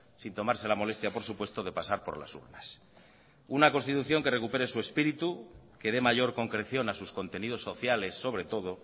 sin tomarse la molestia por supuesto de pasar por las urnas una constitución que recupere su espíritu que dé mayor concreción a sus contenidos sociales sobre todo